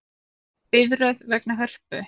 Biðröð vegna Hörpu